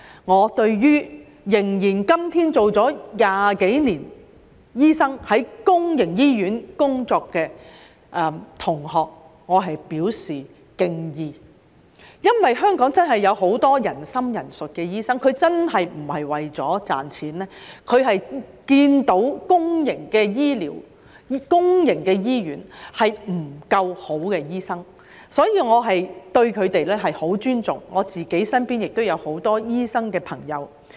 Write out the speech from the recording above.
我對至今在公營醫院工作了20多年的醫生同學表示敬意，因為香港真的有很多仁心仁術的醫生，他們並非為了賺錢，而是看到公營醫院沒有足夠好醫生，所以我十分尊重他們，身邊也有很多醫生朋友。